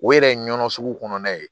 O yɛrɛ ye nɔnɔ sugu kɔnɔna ye